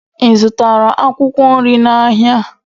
Ị zụtara akwụkwọ nri n'ahịa?